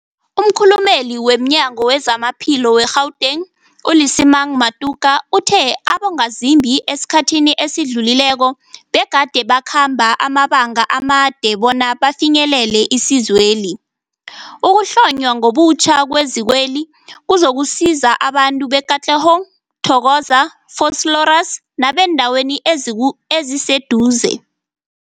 Umkhulumeli womNyango weZamaphilo we-Gauteng, u-Lesemang Matuka uthe abongazimbi esikhathini esidlulileko begade bakhamba amabanga amade bona bafinyelele isizweli. Ukuhlonywa ngobutjha kwezikweli kuzokusiza abantu be-Katlehong, Thokoza, Vosloorus nebeendawo eziwu eziseduze.